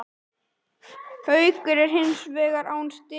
Haukar eru hins vegar án stiga